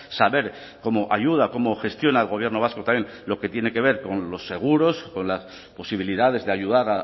saber cómo ayuda cómo gestiona el gobierno vasco también lo que tiene que ver con los seguros con las posibilidades de ayudar